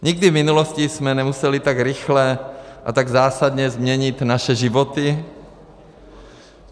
Nikdy v minulosti jsme nemuseli tak rychle a tak zásadně změnit naše životy.